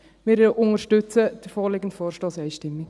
Wir unterstützen den vorliegenden Vorstoss einstimmig.